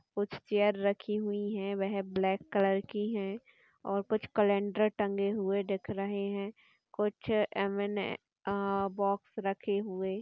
कुछ चेयर रखी हुई हैं। वह ब्लैक कलर की है और कुछ कैलेंडर टंगे हुए दिख रहे हैं। कुछ एम.एन.ए. अ बॉक्स रखे हुए --